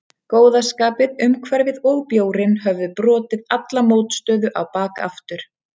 Góða skapið, umhverfið og bjórinn höfðu brotið alla mótstöðu á bak aftur.